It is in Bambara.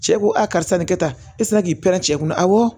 Cɛ ko a karisa nin kɛ tan e tɛ se k'i pɛrɛn cɛ kunna awɔ